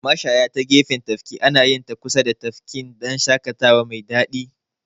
Mashaya ta gefen tafki anayinta kusa da tafki dan shaƙatawa mai daɗi.